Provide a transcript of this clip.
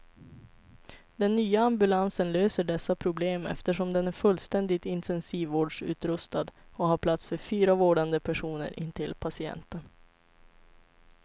Den nya ambulansen löser dessa problem, eftersom den är fullständigt intensivvårdsutrustad och har plats för fyra vårdande personer intill patienten.